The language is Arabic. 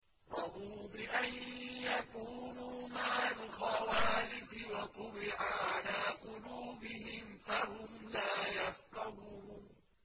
رَضُوا بِأَن يَكُونُوا مَعَ الْخَوَالِفِ وَطُبِعَ عَلَىٰ قُلُوبِهِمْ فَهُمْ لَا يَفْقَهُونَ